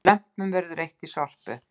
Lömpum verður eytt í Sorpu